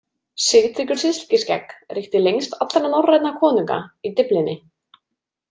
Sigtryggur silkiskegg ríkti lengst allra norrænna konunga í Dyflinni.